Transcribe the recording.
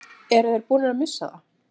Eru þeir búnir að missa það?